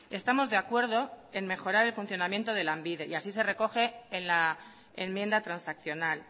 estamos de acuerdo en mejorar el funcionamiento de lanbide y así se recoge en la enmienda transaccional